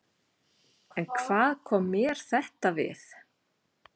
En hvað kom mér þetta við?